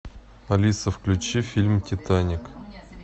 алиса включи фильм титаник